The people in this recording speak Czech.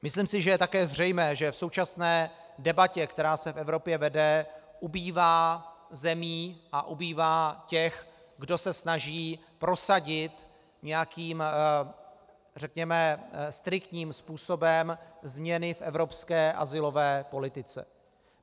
Myslím si, že je také zřejmé, že v současné debatě, která se v Evropě vede, ubývá zemí a ubývá těch, kdo se snaží prosadit nějakým, řekněme, striktním způsobem změny v evropské azylové politice.